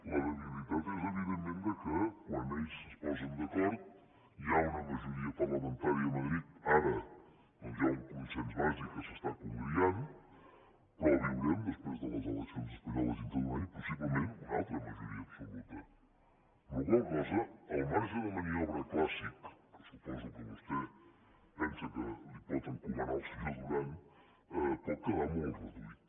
la debilitat és evidentment que quan ells es posen d’acord hi ha una majoria parlamentària a madrid ara doncs hi ha un consens bàsic que s’està congriant però viurem després de les eleccions espanyoles dintre d’un any possiblement una altra majoria absoluta amb la qual cosa el marge de maniobra clàssic que suposo que vostè pensa que li pot encomanar al senyor duran pot quedar molt reduït